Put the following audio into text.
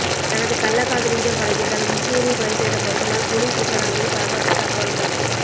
தனது கள்ளக்காதலியிடம் பழகியதால் இன்ஜினியரை கொலை செய்த கொத்தனார் போலீஸ் விசாரணையில் பரபரப்பு தகவல்கள்